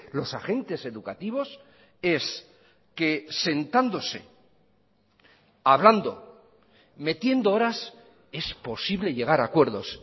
los agentes educativos es que sentándose hablando metiendo horas es posible llegar a acuerdos